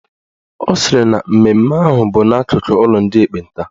Ọ sịrị na mmemme ahụ bụ n'akụkụ ụlọ ndị ekpenta